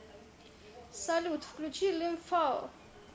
салют включи лимфао